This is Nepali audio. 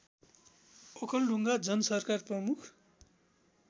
ओखलढुङ्गा जनसरकार प्रमुख